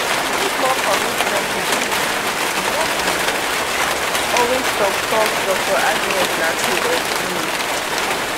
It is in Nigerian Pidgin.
we need more commitment to deal wit dis tin no be always tok tok dr agnes lartey explain